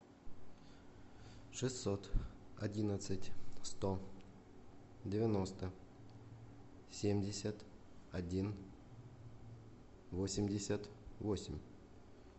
шестьсот одиннадцать сто девяносто семьдесят один восемьдесят восемь